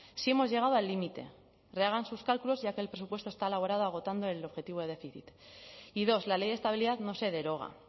sí hemos llegado al límite rehagan sus cálculos ya que el presupuesto está elaborado agotando el objetivo de déficit y dos la ley de estabilidad no se deroga